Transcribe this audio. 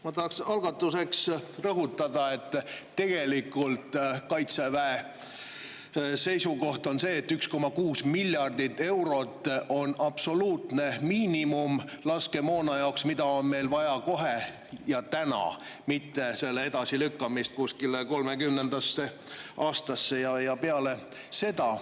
Ma tahan algatuseks rõhutada, et tegelikult on Kaitseväe seisukoht see, et 1,6 miljardit eurot on absoluutne miinimum laskemoona jaoks, mida on meil vaja kohe ja täna, seda ei saa edasi lükata kuskile 2030. aastasse või aega peale seda.